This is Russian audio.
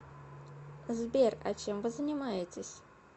сбер а чем вы занимаетесь